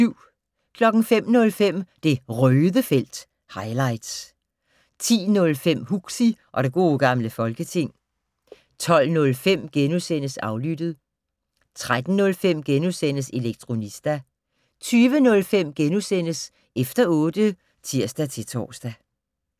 05:05: Det Røde felt - highlights 10:05: Huxi og det gode gamle folketing 12:05: Aflyttet * 13:05: Elektronista * 20:05: Efter otte *(tir-tor)